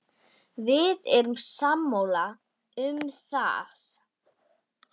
Við erum sammála um það.